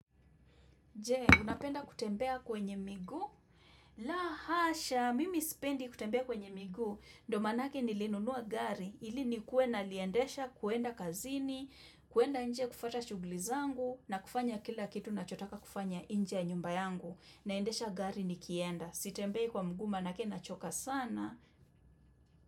Je, unapenda kutembea kwenye miguu? La asha, mimi sipendi kutembea kwenye miguu. Ndio manake nilinunua gari, ili nikuwe naliendesha kuenda kazini, kuenda nje kufata shugli zangu, nafanya kila kitu nachotaka kufanya inje ya nyumba yangu. Naendesha gari nikienda. Sitembei kwa mguu manake nachoka sana.